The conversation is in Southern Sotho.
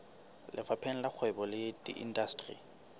lefapheng la kgwebo le indasteri